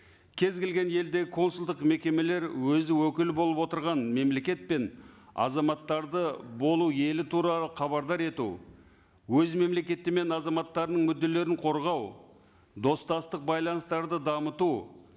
кез келген елде консулдық мекемелер өзі өкіл болып отырған мемлекет пен азаматтарды болу елі тура хабардар ету өз мемлекеті мен азаматтарының мүдделерін корғау достастық байланыстарды дамыту